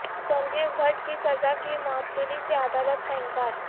سنجیو بھٹ کی سزا کی معطلی سے عدالت کا انکار